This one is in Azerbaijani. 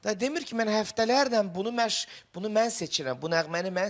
Də demir ki, mən həftələrlə bunu, mən bunu mən seçirəm, bu nəğməni mən seçirəm.